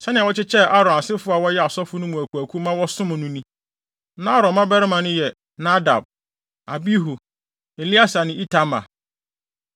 Sɛnea wɔkyekyɛɛ Aaron asefo a wɔyɛ asɔfo no mu akuwakuw ma wɔsom no ni: Na Aaron mmabarima no yɛ Nadab, Abihu, Eleasar ne Itamar.